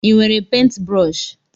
Ị nwere pentbrọshi?